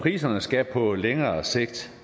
priserne skal på længere sigt